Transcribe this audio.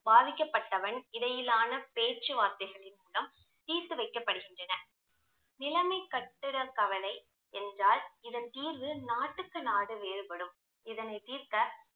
பாதிக்கபட்டவன் இடையிலான பேச்சு வார்த்தைகளின் மூலம் தீர்த்து வைக்கப்படுகின்றன நிலமை கட்டிட கவலை என்றால் இதன் தீர்வு நாட்டுக்கு நாடு வேறுபடும் இதனை தீர்க்க